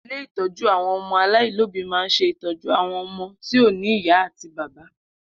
Ilé ìtọ́jú àwọn ọmọ aláìlóbìí ma ń se ìtọ́jú àwọn ọmọ tí ò ní ìyá àti bàbá.